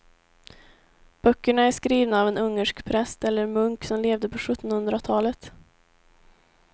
Böckerna är skrivna av en ungersk präst eller munk som levde på sjuttonhundratalet.